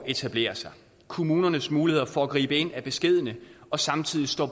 etableret kommunens muligheder for at gribe ind er beskedne og samtidig står